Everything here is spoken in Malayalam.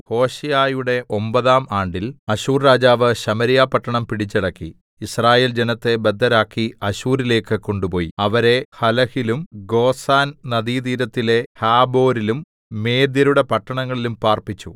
ഹോശേയയുടെ ഒമ്പതാം ആണ്ടിൽ അശ്ശൂർ രാജാവ് ശമര്യ പട്ടണം പിടിച്ചടക്കി യിസ്രായേൽ ജനത്തെ ബദ്ധരാക്കി അശ്ശൂരിലേക്ക് കൊണ്ടുപോയി അവരെ ഹലഹിലും ഗോസാൻ നദീതീരത്തിലെ ഹാബോരിലും മേദ്യരുടെ പട്ടണങ്ങളിലും പാർപ്പിച്ചു